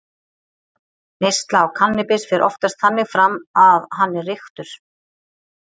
Neysla á kannabis fer oftast þannig fram að hann er reyktur.